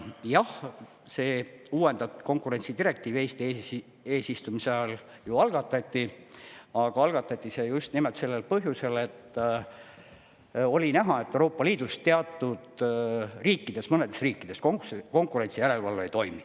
Jah, see uuendatud konkurentsidirektiiv Eesti eesistumise ajal algatati, aga algatati see just nimelt sellel põhjusel, et oli näha, et Euroopa Liidus mõnedes riikides konkurentsijärelevalve ei toimi.